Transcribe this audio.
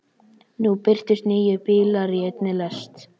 Nú birtust níu bílar í einni lest.